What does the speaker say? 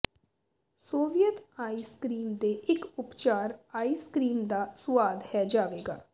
Soviet ice cream ਦੇ ਇੱਕ ਉਪਚਾਰ ਆਈਸ ਕਰੀਮ ਦਾ ਸੁਆਦ ਹੈ ਜਾਵੇਗਾ